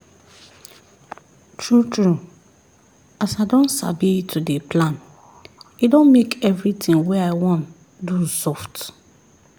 true true as i don sabi to dey plan e don make everything wey i wan do soft